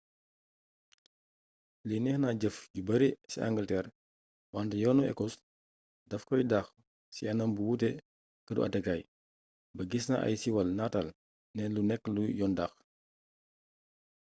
lii nekk na jëf ju bare ci angalteer wante yoonu ekos dafay dox ci anam bu wute te këru àtteekaay bag is na ay siwaal nataal ne lu nekk lu yoon dàkk